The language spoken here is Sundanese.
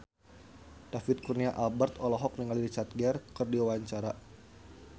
David Kurnia Albert olohok ningali Richard Gere keur diwawancara